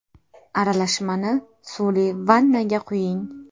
Aralashmani suvli vannaga quying.